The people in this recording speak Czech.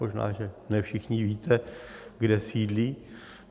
Možná, že ne všichni víte, kde sídlí.